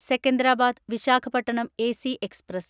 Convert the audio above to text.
Secunderabad Visakhapatnam AC express